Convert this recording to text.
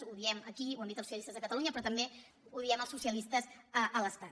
ho diem aquí ho han dit els socialistes de catalunya però també ho diem els socialistes a l’estat